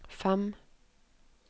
fem